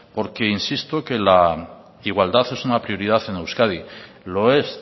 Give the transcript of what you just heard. porque insisto que la igualdad es una prioridad en euskadi lo es